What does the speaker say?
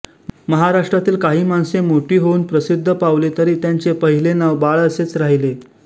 महाराष्ट्रातील काही माणसे मोठी होऊन प्रसिद्ध पावली तरी त्यांचे पहिले नाव बाळ असेच राहिले